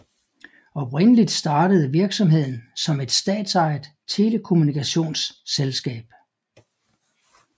Oprindeligt startede virksomheden som et statsejet telekommunikationsselskab